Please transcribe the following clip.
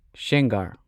ꯁꯦꯡꯒꯥꯔ